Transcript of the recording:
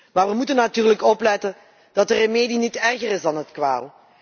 Maar we moeten natuurlijk opletten dat de remedie niet erger is dan de kwaal.